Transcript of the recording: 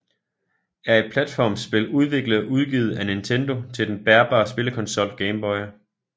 er et platformspil udviklet og udgivet af Nintendo til den bærbare spillekonsol Game Boy